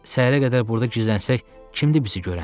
Səhərə qədər burda gizlənsək, kimdi bizi görən?